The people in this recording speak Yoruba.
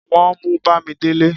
wọn mú bamidele